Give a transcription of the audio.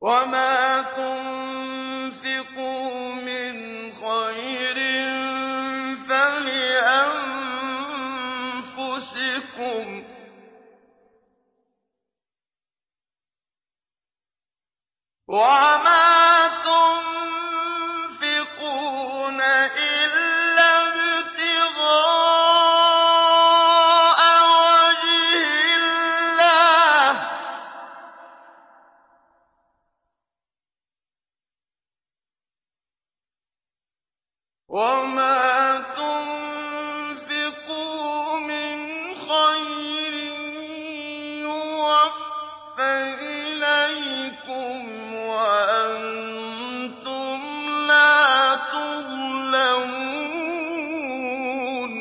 وَمَا تُنفِقُوا مِنْ خَيْرٍ فَلِأَنفُسِكُمْ ۚ وَمَا تُنفِقُونَ إِلَّا ابْتِغَاءَ وَجْهِ اللَّهِ ۚ وَمَا تُنفِقُوا مِنْ خَيْرٍ يُوَفَّ إِلَيْكُمْ وَأَنتُمْ لَا تُظْلَمُونَ